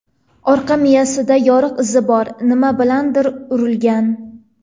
Orqa miyasida yoriq izi bor, nima bilandir urilgan.